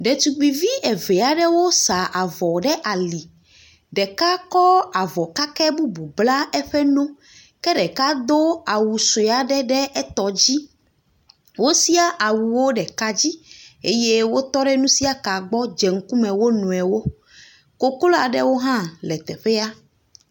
Ɖetugbuivi eve aɖewo sa avɔ ɖe ali, ɖeka kɔ avɔ kake bubu bla eƒe no ke ɖeka do awu sue aɖe ɖe etɔ dzi eye wotɔ ɖe nusiaka gbɔ hedze ŋgɔ wo nɔewo.